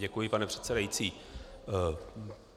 Děkuji, pane předsedající.